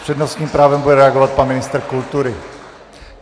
S přednostním právem bude reagovat pan ministr kultury.